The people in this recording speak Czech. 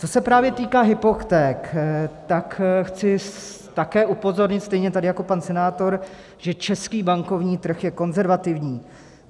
Co se právě týká hypoték, tak chci také upozornit stejně jako tady pan senátor, že český bankovní trh je konzervativní.